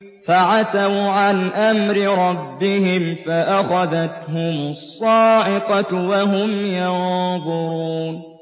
فَعَتَوْا عَنْ أَمْرِ رَبِّهِمْ فَأَخَذَتْهُمُ الصَّاعِقَةُ وَهُمْ يَنظُرُونَ